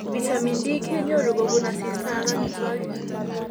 Vitamin D kenyoru kobun asista ak amitwagik